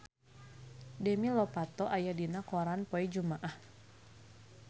Demi Lovato aya dina koran poe Jumaah